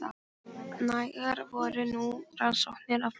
Nægar voru nú rannsóknirnar að baki.